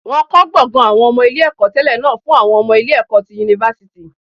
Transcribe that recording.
Wọ́n kọ́ gbọ̀ngàn àwọn ọmọ ilé ẹ̀kọ́ tẹlẹ náà fún àwọn ọmọ ilé ẹ̀kọ́ tẹlẹ ti yunifásítì